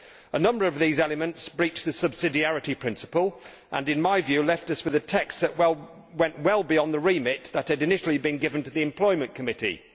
A number of these elements breach the subsidiarity principle and, in my view, left us with a text that went well beyond the remit that had initially been given to the Employment Committee.